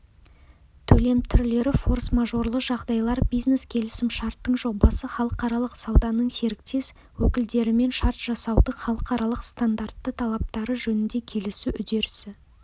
төлем түрлері форс-мажорлы жағдайлар бизнес-келісімшарттың жобасы халықаралық сауданың серіктес-өкілдерімен шарт жасасудың халықаралық-стандартты талаптары жөнінде келісу үдерісі